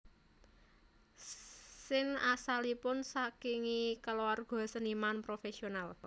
Sin asalipun sakingi keluarga seniman profesional